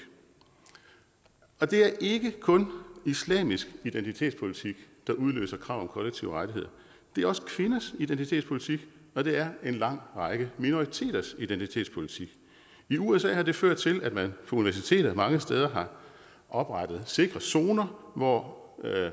og det er ikke kun islamisk identitetspolitik der udløser krav om kollektive rettigheder det er også kvinders identitetspolitik og det er en lang række minoriteters identitetspolitik i usa har det ført til at man på universiteter mange steder har oprettet sikre zoner hvor